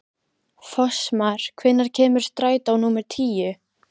Fossmar, hvenær kemur strætó númer tíu?